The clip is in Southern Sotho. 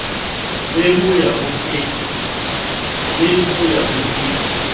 le ho ya ho e